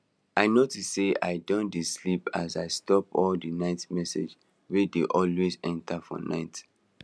i notice sey i don dey sleep as i stop all the message wey dey always enter for night